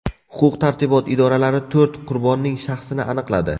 Huquq-tartibot idoralari to‘rt qurbonning shaxsini aniqladi.